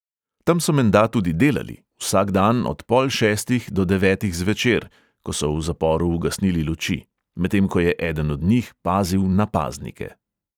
Tam so menda tudi delali, vsak dan od pol šestih do devetih zvečer, ko so v zaporu ugasnili luči, medtem ko je eden od njih pazil na paznike.